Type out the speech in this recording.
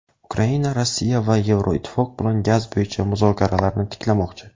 Ukraina Rossiya va Yevroittifoq bilan gaz bo‘yicha muzokaralarni tiklamoqchi.